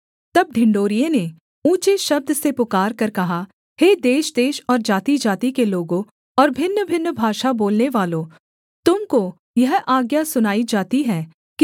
तब ढिंढोरिये ने ऊँचे शब्द से पुकारकर कहा हे देशदेश और जातिजाति के लोगों और भिन्नभिन्न भाषा बोलनेवालो तुम को यह आज्ञा सुनाई जाती है कि